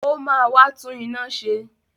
Ó máa wá tún iná ṣe!